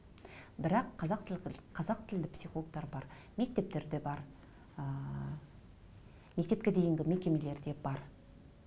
бірақ қазақ қазақ тілді психологтар бар мектептерде бар ыыы мектепке дейінгі мекемелерде бар